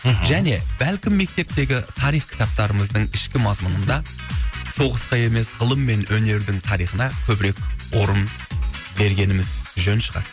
мхм және бәлкім мектептегі тарих кітаптарымыздың ішкі мазмұнында соғысқа емес ғылым мен өнердің тарихына көбірек орын бергеніміз жөн шығар